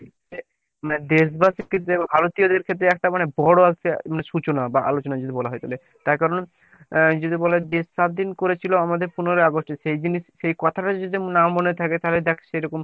দেশবাসী থেকো ও ভারতীয় দের ক্ষেত্রে একটা মানে বড়ো একটা সূচনা বা আলোচনা যদি বলা হয় তাহলে। তার কারণ আহ যদি বলা হয় দেশ স্বাধীন করেছিল আমাদের পনেরোই অগাস্টে সেই দিন ই সেই কথা টাই যদি আমার না মনে থাকে। তাহলে দেখ সেরকম